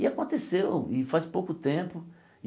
E aconteceu, e faz pouco tempo.